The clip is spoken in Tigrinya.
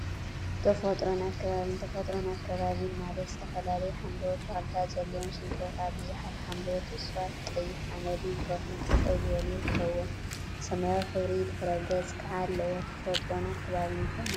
ተፈጥሮን አከባቢን ተፈጥሮን አከባቢን ማለት ዝተፈላለዩ ሓምለዎት ተክሊታት ዘለዎም ሽንጥሮታት፣ ቡዙሓት ሓምለዎት እፅዋት፣ ቀይሕ ሓመድን ከውሒን ጠጠው ዝበሉ ይርከቡዎም፡፡ ሰማያዊ ሕብሪ ድሕረ ገፅ ከዓ አለዎ፡፡ ተፈጥሮን አከባቢን እንታይ ማለት እዩ?